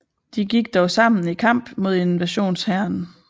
De gik dog sammen i kamp mod invasionshæren